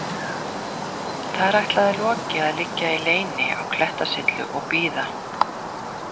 Þar ætlaði Loki að liggja í leyni á klettasyllu og bíða.